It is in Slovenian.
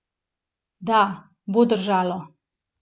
Da, bo držalo!